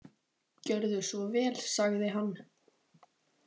Gjörðu svo vel, sagði hann.